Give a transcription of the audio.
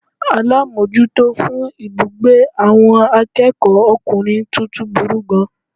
Alámójútó fún ibùgbé àwon akéèkó okùnrin tuntun burú gan an